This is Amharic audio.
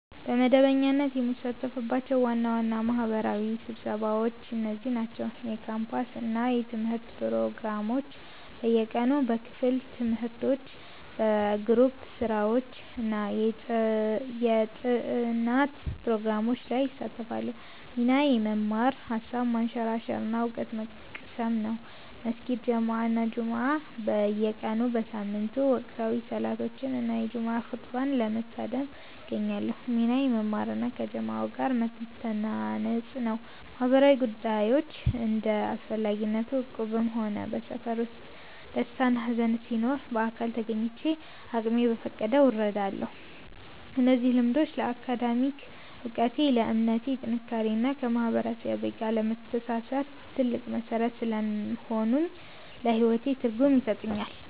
በመደበኛነት የምሳተፍባቸው ዋና ዋና ማህበራዊ ስብሰባዎች እነዚህ ናቸው፦ የካምፓስ እና የትምህርት ፕሮግራሞች (በየቀኑ)፦ በክፍል ትምህርቶች፣ በግሩፕ ስራዎች እና የጥናት ፕሮግራሞች ላይ እሳተፋለሁ። ሚናዬ መማር፣ ሃሳብ ማንሸራሸር እና እውቀት መቅሰም ነው። የመስጊድ ጀማዓ እና ጁምዓ (በየቀኑ/በየሳምንቱ)፦ ወቅታዊ ሰላቶችን እና የጁምዓ ኹጥባን ለመታደም እገኛለሁ። ሚናዬ መማር እና ከጀማዓው ጋር መተናነጽ ነው። ማህበራዊ ጉዳዮች (እንደ አስፈላጊነቱ)፦ በእቁብም ሆነ በሰፈር ውስጥ ደስታና ሃዘን ሲኖር በአካል ተገኝቼ አቅሜ በፈቀደው እረዳለሁ። እነዚህ ልምዶች ለአካዳሚክ እውቀቴ፣ ለእምነቴ ጥንካሬ እና ከማህበረሰቤ ጋር ለመተሳሰር ትልቅ መሠረት ስለሆኑኝ ለህይወቴ ትርጉም ይሰጡኛል።